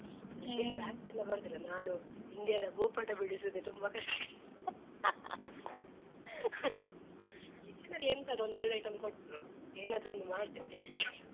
ಹ್ಮ್ ನಂಗೆ craft ಎಲ್ಲ ಬರುದಿಲ್ಲ ನಾನು India ದ ಭೂಪಟ ಬಿಡಿಸುವುದೇ ತುಂಬ ಕಷ್ಟ kitchen ಎಂತದ ಒಂದೆರಡ್ item ಕೊಟ್ರು ಏನಾದ್ರೊಂದ್ ಮಾಡ್ತೇನ್ taste ಗೆ.